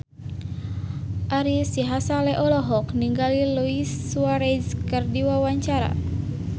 Ari Sihasale olohok ningali Luis Suarez keur diwawancara